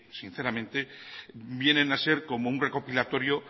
sinceramente vienen a ser como un recopilatorio